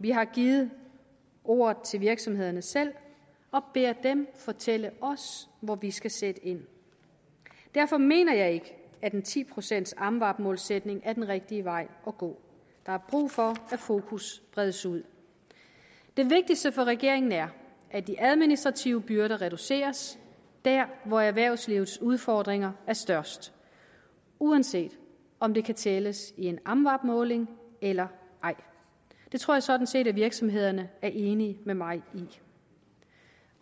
vi har givet ordet til virksomhederne selv og beder dem fortælle os hvor vi skal sætte ind derfor mener jeg ikke at en ti procents amvab målsætning er den rigtige vej at gå der er brug for at fokus bredes ud det vigtigste for regeringen er at de administrative byrder reduceres der hvor erhvervslivets udfordringer er størst uanset om det kan tælles i en amvab måling eller ej det tror jeg sådan set at virksomhederne er enig med mig i